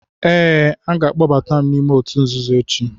Ee, a ga-akpọbatam ​​m n'ime òtù nzuzo echi.